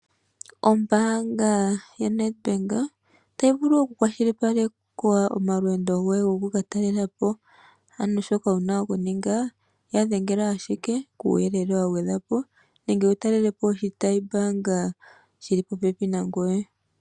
Ombaanga yoNedbank otayi vulu oku kwashilipaleka omalweendo goye mpoka wa hala oku katalelapo ano shi wuna okuninga yadhengela ashike kuuyelele wagwedhwa po nenge wu talelepo oshitayi mbaanga shi li popepi gangoye.